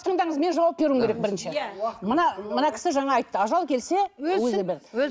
тыңдаңыз мен жауап беруім керек бірінші иә мына мына кісі жаңа айтты ажал келсе өлсін